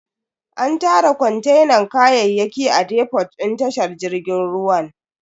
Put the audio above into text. An tara kontenan kayayyaki a defot din tashar jirgin ruwan.